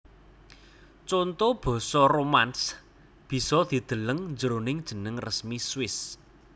Conto basa Romansch bisa dideleng jroning jeneng resmi Swiss